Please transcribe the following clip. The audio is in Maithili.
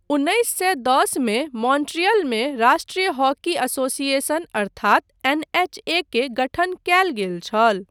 उन्नैस सए दस मे मॉन्ट्रियलमे राष्ट्रीय हॉकी एसोसिएशन अर्थात एनएचए के गठन कयल गेल छल।